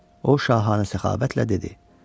O şahanə səxavətlə dedi: